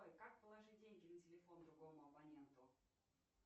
как положить деньги на телефон другому абоненту